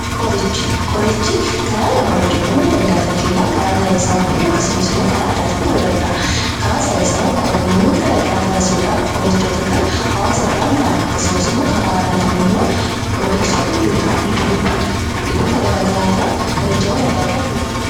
Qoricha: Qorichi karaa lamaan hojjetamuu danda'aa fakkeenyaaf karaa saayinsawwaanii fi akkasumas immoo karaa aadaan ta'uu danda'a. Karaa saayinsawwaan qorannoowwan garaa garaa taasisuudhaan qorichoota kana hawwaasa biraan ga'ama. Akkasumas immoo karaa aadaatiin immoo ogeessonni biqiltoota garaa garaa irraa qorichoota addaa addaa ni hojjetu.